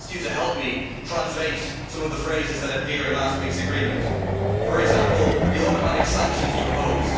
Can I ask him to help me translate some of the phrases that appear in last week's agreement, for example the automatic sanctions' proposed.